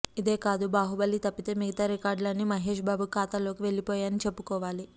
ఇదే కాదు బాహుబలి తప్పితే మిగతా రికార్డులు అన్నీ మహేష్ బాబు ఖాతాలోకి వెళ్లిపోయాయని చెప్పుకోవాలి